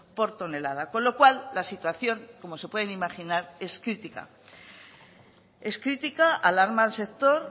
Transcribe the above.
por tonelada con lo cual la situación como se pueden imaginar es crítica es crítica alarma al sector